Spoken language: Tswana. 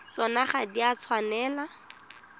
tsona ga di a tshwanela